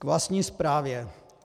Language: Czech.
K vlastní zprávě.